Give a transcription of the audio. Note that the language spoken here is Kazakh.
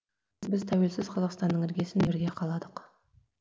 біз тәуелсіз қазақстанның іргесін бірге қаладық